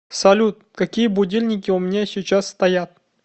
салют какие будильники у меня сейчас стоят